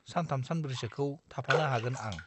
सानथाम सानब्रैसोखौ थाफानो हागोन आं।